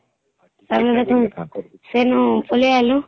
ତାଇନୁ ହମ୍ ସେଇନୁ ପଳେଇ ଅଇଲୁ